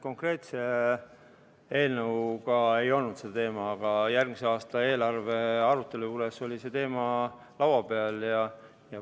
Konkreetse eelnõu puhul ei olnud see arutlusel, aga järgmise aasta eelarve arutelu käigus oli see teema laua peal küll.